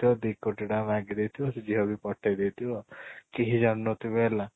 ଥିବ ଦି କୋଟି ଟଙ୍କା ମାଗି ଦେଇ ଥିବ ସେ ଝିଅ ବି ପଠେଇ ଦେଇ ଥିବ କେହି ଜାଣି ନ ଥିବେ ହେଲା